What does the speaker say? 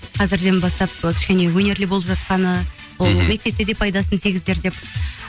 қазірден бастап ы кішкене өнерлі болып жатқаны мхм мектепте де пайдасын тигізер деп